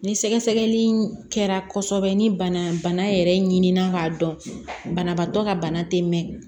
Ni sɛgɛsɛgɛli in kɛra kosɛbɛ ni bana yɛrɛ ɲinan k'a dɔn banabaatɔ ka bana te mɛn